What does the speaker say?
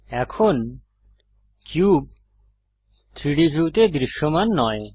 এখন কিউব 3ডি ভিউতে দৃশ্যমান নয়